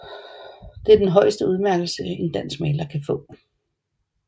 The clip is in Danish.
Det er den højeste udmærkelse en dansk maler kan få